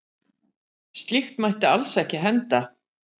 Slíkt mætti alls ekki henda.